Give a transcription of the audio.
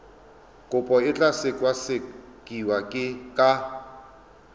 kopo e tla sekasekiwa ka